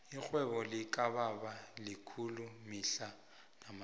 irhwebo likababa likhulu mihla namalanga